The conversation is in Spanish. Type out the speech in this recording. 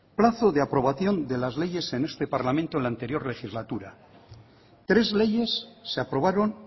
plazo de aprobación de las leyes en este parlamento en el anterior legislatura tres leyes se aprobaron